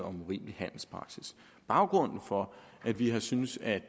om urimelig handelspraksis baggrunden for at vi har syntes at